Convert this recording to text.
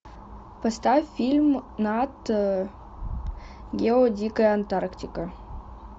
поставь фильм нат гео дикая антарктика